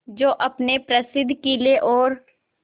जो अपने प्रसिद्ध किले और